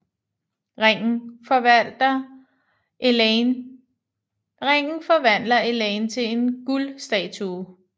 Ringen forvandler Elaine til en guld statue